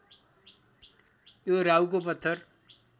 यो राहुको पत्थर